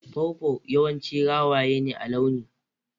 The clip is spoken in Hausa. Pawpaw yawanci rawaya ne a launi.